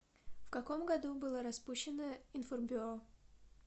в каком году было распущено информбюро